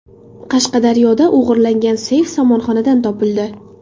Qashqadaryoda o‘g‘irlangan seyf somonxonadan topildi.